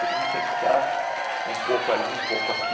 Todo mundo tem que estar um pouco ali, um pouco aqui.